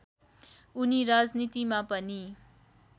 उनी राजनीतिमा पनि